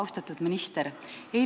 Austatud minister!